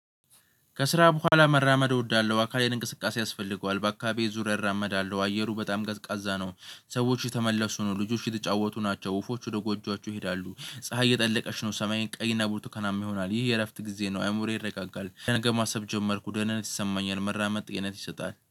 ከስራ በኋላ መራመድ እወዳለሁ አካሌን እንቅስቃሴ ያስፈልገዋል በአካባቢው ዙር እራመዳለሁ አየሩ በጣም ቀዝቃዛ ነው። ሰዎች የተመለሱ ነው ልጆች የተጫወቱ ናቸው ወፎች ወደ ጎጆአቸው ይሄዳሉ። ፀሀይ እየጠለቀች ነው ሰማይንጅ ቀይና ቡርትኻናም ይሆናል። ይህ የእረፍት ጊዜ ነው። አእምሮዬ ይረጋጋል ለነገ ማሰብ ጀመርኩ ደህንነት ይሰማኛል። መራመድ ጤንነት ይሰጣል